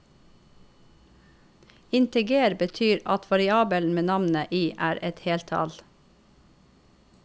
Integer betyr at variabelen med navnet i er et heltall.